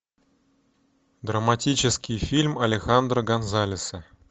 драматический фильм алехандро гонсалеса